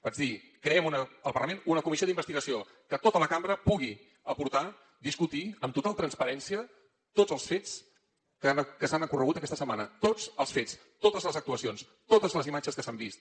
vaig dir creem al parlament una comissió d’investigació que tota la cambra pugui aportar discutir amb total transparència tots els fets que han ocorregut aquesta setmana tots els fets totes les actuacions totes les imatges que s’han vist